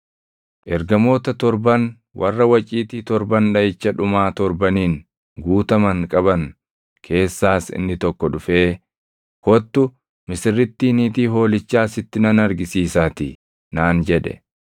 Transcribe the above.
Ergamoota torban warra waciitii torban dhaʼicha dhumaa torbaniin guutaman qaban keessaas inni tokko dhufee, “Kottu, misirrittii niitii Hoolichaa sitti nan argisiisaatii” naan jedhe.